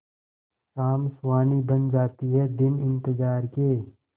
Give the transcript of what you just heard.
शाम सुहानी बन जाते हैं दिन इंतजार के